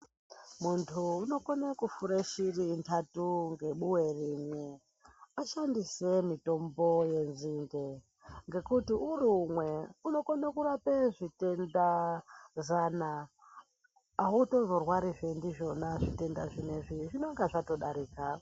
Muntu unokone kufure shiri ntatu ngebuwe rimwe ashandise mitombo yenzinde ngekuti uri umwe unokone kurape zvitenda zana autozorwarizve ndizvona zvitendazvo zvinengana zvatodarika.